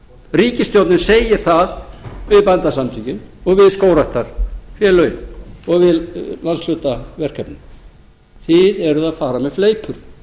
ríkisstjórnin segir það við bændasamtökin og við skógræktarfélögin og við landshlutaverkefnin þið eruð að fara með fleipur jón